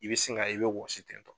I be sin ka ye, i be wɔsi ten tɔ.